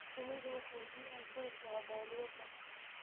Shinnidu waxay biyaha ka heshaa balliyada.